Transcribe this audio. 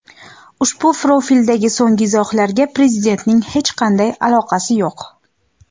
ushbu profildagi so‘nggi izohlarga Prezidentning hech qanday aloqasi yo‘q.